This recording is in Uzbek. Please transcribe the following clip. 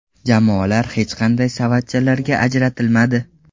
Jamoalar hech qanday savatchalarga ajratilmadi.